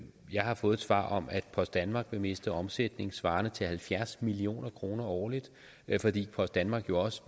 jeg har fået svar om at post danmark vil miste omsætning svarende til halvfjerds million kroner årligt fordi post danmark jo også